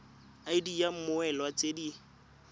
id ya mmoelwa tse di